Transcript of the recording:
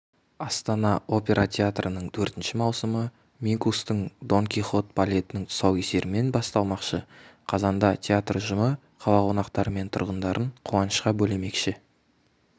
астана опера театрының төртінші маусымы минкустың дон кихот балетінің тұсаукесерімен басталмақшы қазанда театр ұжымы қала қонақтары мен тұрғындарын қуанышқа бөлемекші